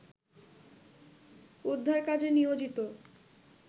উদ্ধার কাজে নিয়োজিত